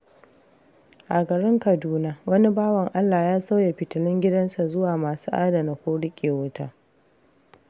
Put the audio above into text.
A garin Kaduna, wani bawan Allah ya sauya fitilun gidansa zuwa masu adana ko riƙe wuta.